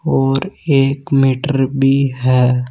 और एक मीटर भी है।